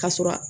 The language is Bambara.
Ka sɔrɔ